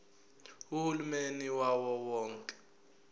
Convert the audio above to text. uhulumeni wawo wonke